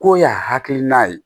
K'o y'a hakilina ye